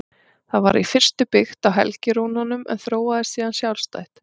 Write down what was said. Það var í fyrstu byggt á helgirúnunum en þróaðist síðan sjálfstætt.